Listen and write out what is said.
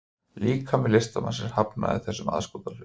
Líkami listamannsins hafnaði þessum aðskotahlut